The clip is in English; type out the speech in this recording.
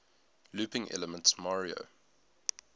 looping elements mario